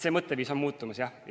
See mõtteviis on muutumas, jah.